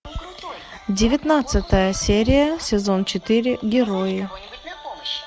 девятнадцатая серия сезон четыре герои